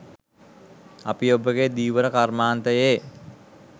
අපි ඔබගේ ධීවර කර්මාන්තයේ